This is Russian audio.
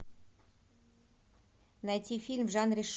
найти фильм в жанре